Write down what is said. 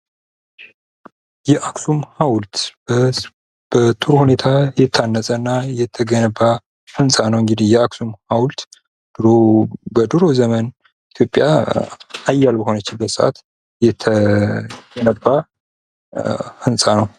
የአክሱም ሐውልት በጥሩ ሁኔታ የታነጸና እየተገነባ ህንጻ ነው እንዲህ የአክሱም ሐውልት። በድሮ ዘመን ኢትዮጵያ ሀያል በሆነችበት ሰአት የነበረ ሕንፃ ነው።